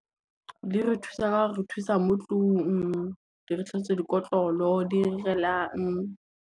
Di re thusa ka o re thusa mo tlung, di re tlhatswetsa dikotlolo, di irelang.